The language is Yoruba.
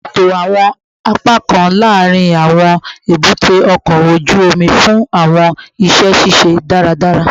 Ṣeto awọn apakan laarin awọn ebute oko oju omi fun awọn iṣẹ ṣiṣe daradara